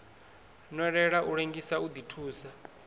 nwelela u lengisa u ḓithusa